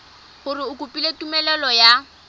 gore o kopile tumelelo ya